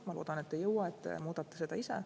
Ma loodan, et ei jõua, et te muudate seda ise.